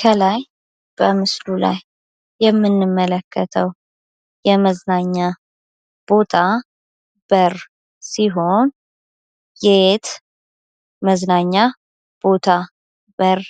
ከላይ በምስሉ ላይ የምንመለከተው የመዝናኛ ቦታ በር ሲሆን የየት መዝናኛ ቦታ በር